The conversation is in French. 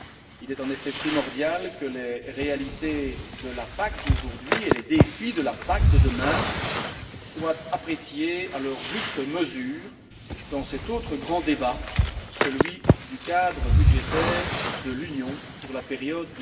Il est en effet primordial que les réalités de la PAC d'aujourd'hui et les défis de la PAC de demain soient appréciés à leur juste mesure dans cet autre grand débat, celui du cadre budgétaire de l'Union pour la période